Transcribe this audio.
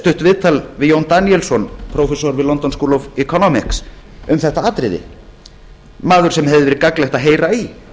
stutt viðtal við jón daníelsson prófessor við london school of economics um þetta atriði mann sem hefði verið gagnlegt að heyra í